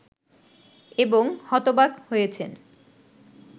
এবং হতবাক হয়েছে